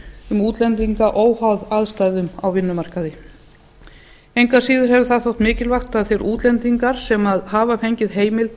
um útlendinga óháð aðstæðum á vinnumarkaði engu að síður hefur það þótt mikilvægt að þeir útlendingar sem hafa fengið